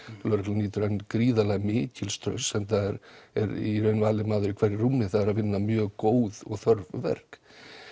lögreglan nýtur gríðarlega mikils traust enda er í raun valinn maður í hverju rúmi það er að vinna mjög góð og þörf verk